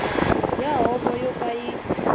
ya huvo yo ka yi